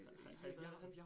Har I været der?